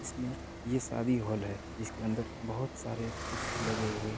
इसमें ये शादी हॉल है जिसके अंदर बहुत सारे कुर्सी लगे हुए-- हैं।